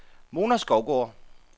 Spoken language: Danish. Mona Skovgaard